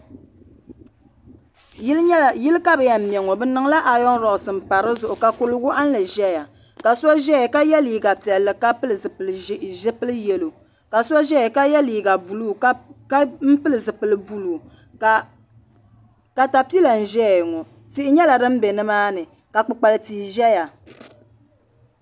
Yili ka bi yɛn ŋmɛ ŋɔ bi niŋla ayoŋrosi n pa di zuɣu ka kuri wɔɣinnli zɛya ka so zɛya ka yiɛ liiga piɛlli ka pili zupiligu yɛlo ka so zɛya ka yiɛ liiga buluu ka pili zupiligu buluu katapila n zɛya ŋɔ tihi yɛla dini bɛ ni maa ni ka kpukpali tii zɛya.